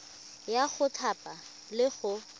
ya go thapa le go